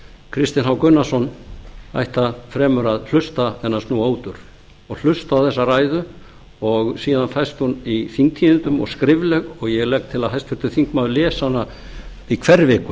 kristinn h gunnarsson ætti fremur að hlusta en að snúa út úr og hlusta á þessa ræðu og síðan fæst hún í þingtíðindum og skrifleg og ég legg til að háttvirtur þingmaður lesi hana í hverri viku